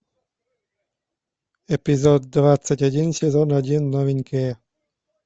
эпизод двадцать один сезон один новенькие